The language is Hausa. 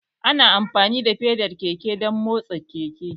Ana amfani da feda keke don motsa keke